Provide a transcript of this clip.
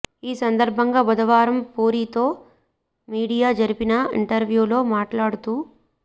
ఈ సందర్భంగా బుధవారం పూరీతో మీడియా జరిపిన ఇంటర్వ్వూ లో మాట్లాడుతూ